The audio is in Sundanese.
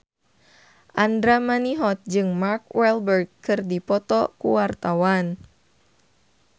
Andra Manihot jeung Mark Walberg keur dipoto ku wartawan